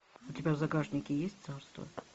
у тебя в загашнике есть царство